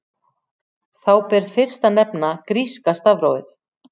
Þá ber fyrst að nefna gríska stafrófið.